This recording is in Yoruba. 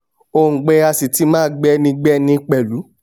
òǹgbẹ á sì ti máa gbẹni gbẹni pẹ̀lú